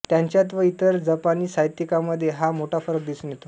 त्याच्यात व इतर जपानी साहित्यिकांमध्ये हा मोठा फरक दिसून येतो